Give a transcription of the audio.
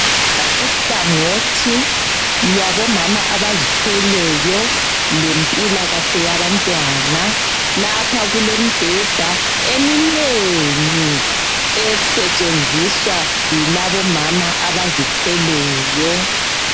Kuhlangothi lwabo mama abazithweleyo lempilakahle yabantwana lapha kulemibheda eminengi esetshenziswa yilabomama abazithweleyo.